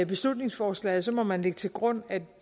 beslutningsforslaget må man lægge til grund at